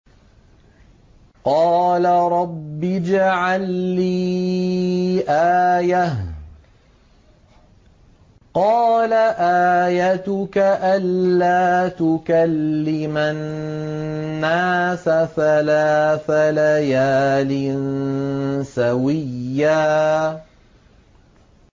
قَالَ رَبِّ اجْعَل لِّي آيَةً ۚ قَالَ آيَتُكَ أَلَّا تُكَلِّمَ النَّاسَ ثَلَاثَ لَيَالٍ سَوِيًّا